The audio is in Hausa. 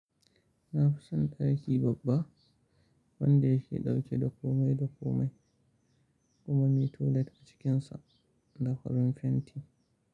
Na fi son ɗaki babba wanda ya ke ɗauke da komai da komai kuma mai toilet a cikinsa da farin fenti.